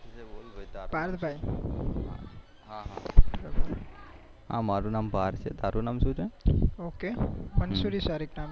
okay Mansuri સારીખ નામ છે મારું